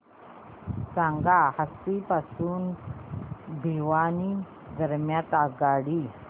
सांगा हान्सी पासून भिवानी दरम्यान आगगाडी